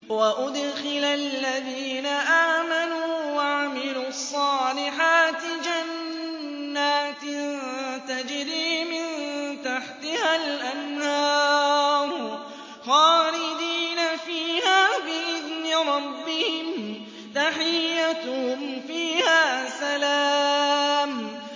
وَأُدْخِلَ الَّذِينَ آمَنُوا وَعَمِلُوا الصَّالِحَاتِ جَنَّاتٍ تَجْرِي مِن تَحْتِهَا الْأَنْهَارُ خَالِدِينَ فِيهَا بِإِذْنِ رَبِّهِمْ ۖ تَحِيَّتُهُمْ فِيهَا سَلَامٌ